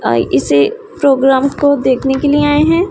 अ इसी प्रोग्राम को देखने के लिए आए हैं।